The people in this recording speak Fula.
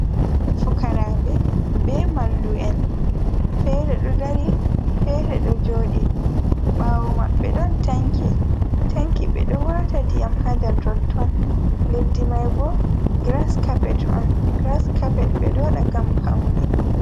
Fukarabe be mallu’en fere ɗo dari fere ɗo jodi bawo maɓɓe ɗon tanki, tanki ɓe ɗo wata ndiyam ha ndar totton leddi mai bo gras cappet on grascoppet ɓe ɗo wada ngam paune.